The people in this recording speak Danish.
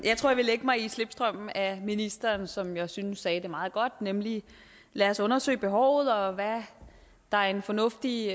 vil lægge mig i slipstrømmen af ministeren som jeg synes sagde det meget godt nemlig lad os undersøge behovet og hvad der er en fornuftig